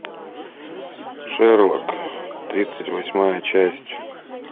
шерлок тридцать восьмая часть